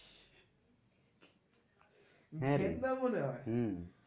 হ্যাঁ রে হম